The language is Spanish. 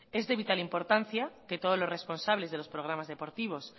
es de vital importa que todos los responsables de los programas deportivos